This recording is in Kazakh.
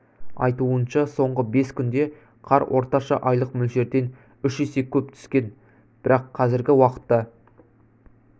айтуынша соңғы бес күнде қар орташа айлық мөлшерден үш есе көп түскен бірақ қазіргі уақытта